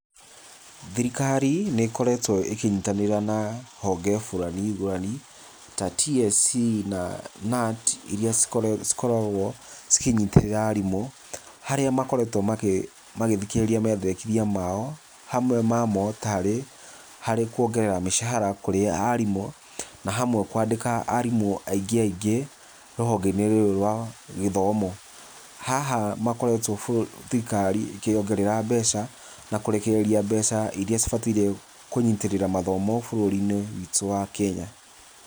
Thirikari nĩkoretwe ĩkĩnyitanĩra na honge ngũrani ngũrani ta TSC na KNUT iria cikoragwo ikĩnyitĩrĩra arimũ harĩa makoretwe makĩthikĩrĩria hamwe mamo tarĩ hamwe kũongerera mĩcara ya arimũ, na hamwe kwandĩka arimũ aingĩ aingĩ rũhongeinĩ rũrũ rwa gĩthomo, haha makoretwe thirikari ĩkĩongerera mbeca na kũrĩkĩrĩrĩa mbeca iria cibataire kũnyitĩrĩra mathomo bũrũrinĩ witũ wa Kenya.